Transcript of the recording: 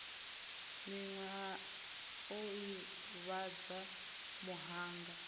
miwe a o ivhadza muhanga